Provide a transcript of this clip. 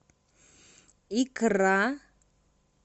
икра